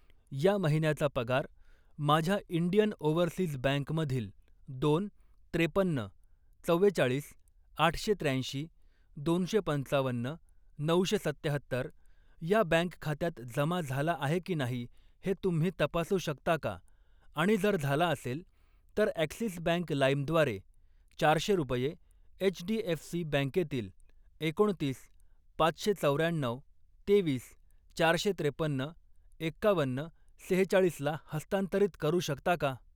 या महिन्याचा पगार माझ्या इंडियन ओव्हरसीज बँक मधील दोन, त्रेपन्न, चव्वेचाळीस, आठशे त्र्याऐंशी, दोनशे पंचावन्न, नऊशे सत्त्याहत्तर या बँक खात्यात जमा झाला आहे की नाही हे तुम्ही तपासू शकता का आणि जर झाला असेल, तर ॲक्सिस बँक लाईम द्वारे चारशे रुपये एचडीएफसी बँकेतील एकोणतीस, पाचशे चौर्याण्णऊ, तेवीस, चारशे त्रेपन्न, एक्कावन्न, सेहेचाळीसला हस्तांतरित करू शकता का?